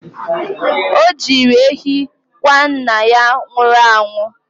O jiri ehi kwa nna ya nwụrụ anwụ.